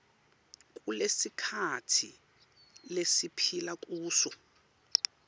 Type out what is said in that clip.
kulesikhatsi lesiphila kuso